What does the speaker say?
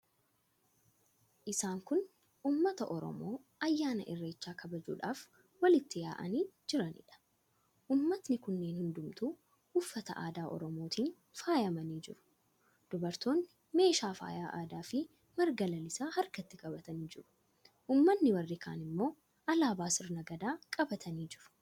Isaan kun uummata Oromoo ayyaana Irreechaa kabajuudhaaf walitti yaa'anii jiraniidha. Uummatni kunneen hundumtuu uffata aadaa Oromootiin faayamanii jiru. Dubartoonni meeshaa faayaa aadaafi marga lalisaa harkatti qabatanii jiru. Uummanni warri kaan immoo alaabaa sirna Gadaa qabatanii jiru.